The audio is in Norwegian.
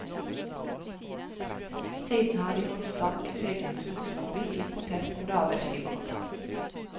Siden har de holdt stand i sykehusets lobby, i protest mot arbeidsgiveren.